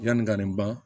Yanni ka nin ban